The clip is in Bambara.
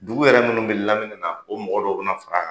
Dugu yɛrɛ munnu be lamini na o mɔgɔ dɔw be na fara kan